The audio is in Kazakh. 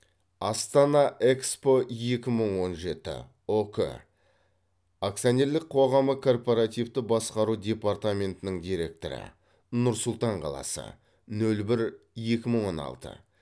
астана экспо екі мың он жеті ұк акционерлік қоғамы корпоративті басқару департаментінің директоры нұр сұлтан қаласы нөл бір екі мың он алты